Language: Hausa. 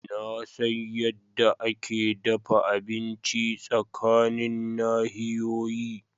Na san yadda ake dafa abinci tsakanin nahiyoyi.